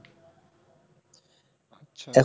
আচ্ছা,